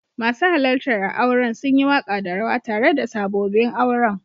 Masu halarta a'auren sun yi waka da rawa tare da sabobin auren.